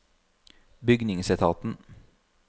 bygningsetaten